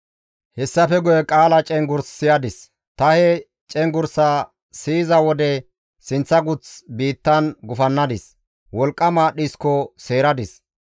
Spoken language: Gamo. Hessafe guye qaala cenggurs siyadis; ta he cenggurssaa siyiza wode sinththa guth biittan gufannadis; wolqqama dhisko seeradis.